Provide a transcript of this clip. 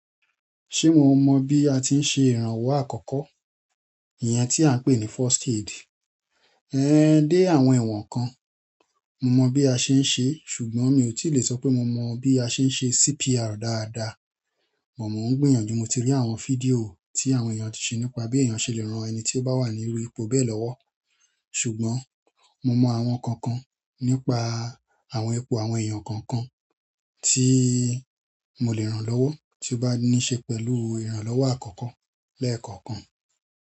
Ṣé mo mọ bí a tí ń ṣe ìrànwọ́ àkọ́kọ́? Iyẹn tí à ń pè ní first aid. Ẹ̀ dé àwọn ìwọ̀n kan. Mo mọ bí a ṣe ń ṣe, ṣùgbọ́n mi ò tí lè sọ pé mo mọ bí a ṣe ń ṣe CPR dáadáa. Mò mọ̀ ń gbìyànjú mo ti rí àwọn fídíò tí àwọn èèyàn ti ṣe nípa bí èèyàn ṣe lè rán ẹni tí ó bá wà níru ipò bẹ́ẹ̀ lọ́wọ́. Ṣùgbọ́n mo mọ àwọn kankan nípa àwọn ipò àwọn èèyàn kankan tí mo lè rànlọ́wọ́ tí ó bá níí ṣe pẹ̀lú ìrànlọ́wọ́ àkọ́kọ́ lẹ́ẹ̀kọ̀kan.